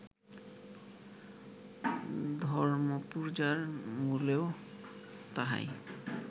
ধর্মপূজার মূলেও তাহাই